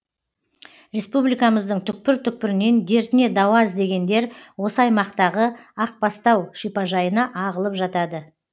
республикамыздың түкпір түкпірінен дертіне дауа іздегендер осы аймақтағы ақ бастау шипажайына ағылып жатады